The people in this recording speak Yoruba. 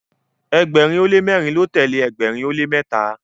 ẹgbẹrin o le mẹrin ló telee ẹgbẹrin o le mẹta